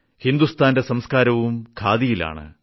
ഹിന്ദുസ്ഥാന്റെ സംസ്ക്കാരവും ഖാദിയിലാണ്